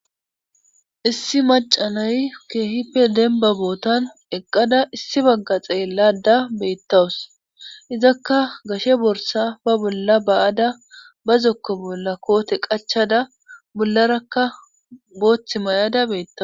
Issi macanay keehipe denba bootan eqqada issi bagga xeellada beettawus izakka gashe borsa ba bolla ba'ada ba zokko bolla koote qachada bollarakka booththi may'ada beettaw